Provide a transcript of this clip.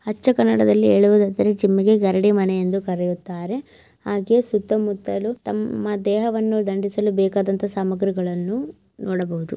ಅಚ್ಚ ಕನ್ನಡದಲ್ಲಿ ಹೇಳುಹುದಾದರೆ ಜಿಮ್ ಗೆ ಗರಡಿ ಮನೆ ಎಂದು ಕರಿಯುತ್ತಾರೆ ಹಾಗೆ ಸುತ್ತಮುತ್ತಲು ತಮ್ಮ ದೇಹವನ್ನು ದಂಡಿಸಲು ಬೇಕಾದಂತ ಸಾಮಗ್ರಿಗಳ್ಳನ್ನು ನೋಡಬಹುದು.